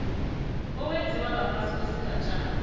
owenziwa ngaphasi kwesigatjana